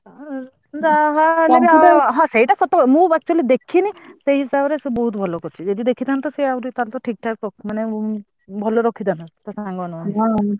ହଁ ସେଇଟା ସତକଥା ମୁଁ ତ ତାକୁ ଦେଖିନି ସେଇ ହିସାବ ରେ ବୋହୁତ ଭଲ କରିଛି ଯଦି ଦେଖିଥାନ୍ତି ତ ସେ ଆହୁରି ଠିକଠାକ ମାନେ ଭଲ ରଖିଥାନ୍ତା ଟା ସାଙ୍ଗ ମାନଙ୍କ ଠାରୁ।